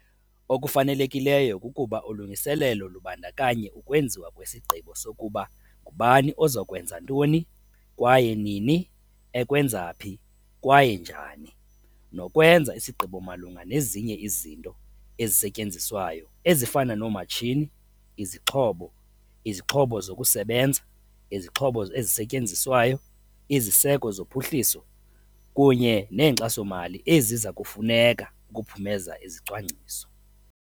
Okufanelekileyo kukuba ulungiselelo lubandakanye ukwenziwa kwesigqibo sokuba ngubani oza kwenza oza kwenza ntoni kwaye nini ekwenza phi kwaye njani nokwenza isigqibo malunga nezinye izinto ezisetyenziswayo ezifana noomatshini, izixhobo, izixhobo zokusebenza, izixhobo ezisetyenziswayo, iziseko zophuhliso kunye neenkxaso-mali eziza kufuneka ukuphumeza izicwangciso.